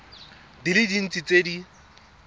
di le dintsi tse di